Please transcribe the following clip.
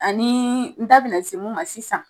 Anii n da bena se mun ma sisan